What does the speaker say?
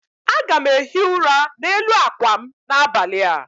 Aga m ehi ụra n'elu akwa m n'abalị a